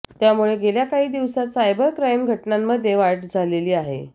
त्यामुळे गेल्या काही दिवसांत सायबर क्राइम घटनांमध्ये वाढझालेली आहे